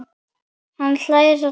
Hann hlær dátt.